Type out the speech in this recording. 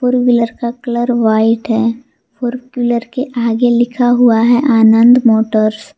Four wheeler का colour white है और फोर व्हीलर के आगे लिखा हुआ है आनंद मोटर्स ।